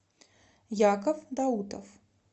яков даутов